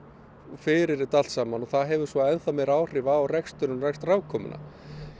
fyrir þetta allt saman og það hefur svo ennþá meiri áhrif á reksturinn og rekstrarafkomuna